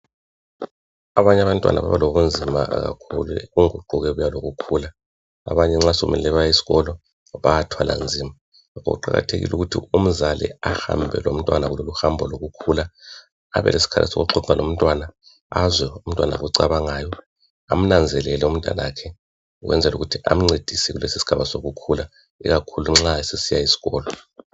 Abanye abantwana baba lobunzima kakhulu kokugqokeka lokukhula. Abanye nxa sekummele baye eskolo bayathwala nzima yikho kuqakathekile ukuthi umzali ahambe lomntwana kuloluhambo lokukhula, abeleskhathi sokuxoxa lomntwana, azwe umntwana akucabangayo, amnanzelele umntanakhe, ukwenzela ukuthi amncedise kulesisigaba sokukhula ikakhulu nxa esesiya eskolo.